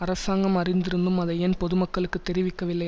அரசாங்கம் அறிந்திருந்தும் அதை ஏன் பொது மக்களுக்கு தெரிவிக்கவில்லை